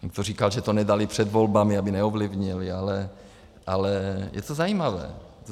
Někdo říkal, že to nedali před volbami, aby neovlivnili, ale je to zajímavé.